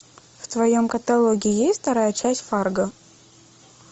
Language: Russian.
в твоем каталоге есть вторая часть фарго